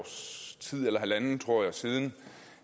sådan